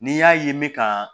N'i y'a ye n bɛ ka